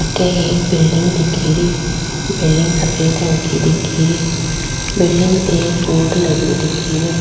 अठे एक बिल्डिंग दिखेरी बिल्डिंग सफ़ेद रंग की दिखेरी बिल्डिंग पे एक बोर्ड लगयो दिखे रियो।